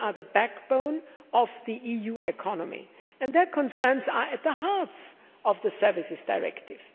They are the backbone of the EU economy and their concerns are at the heart of the Services Directive.